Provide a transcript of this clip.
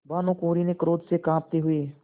भानुकुँवरि ने क्रोध से कॉँपते हुए